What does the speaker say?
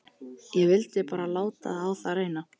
Ég vildi bara láta á það reyna.